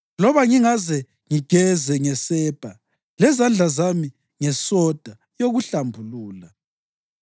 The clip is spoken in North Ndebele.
Loba ngingaze ngigeze ngesepa lezandla zami ngesoda yokuhlambulula,